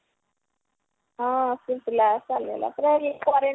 ହଁ